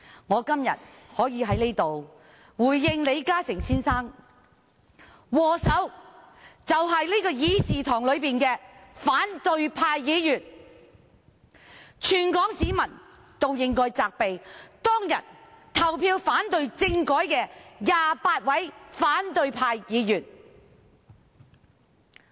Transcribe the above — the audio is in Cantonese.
我今天在此回應李嘉誠先生，禍首便是這個議事廳內的反對派議員，全港市民也應該責備當日投票反對政改的28名反對派議員。